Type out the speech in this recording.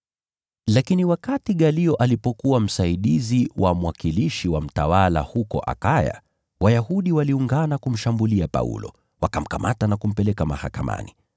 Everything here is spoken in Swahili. Lakini wakati Galio alipokuwa msaidizi wa mwakilishi wa mtawala huko Akaya, Wayahudi waliungana kumshambulia Paulo, wakamkamata na kumpeleka mahakamani.